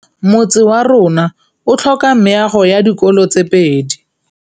Motse warona o tlhoka meago ya dikolô tse pedi.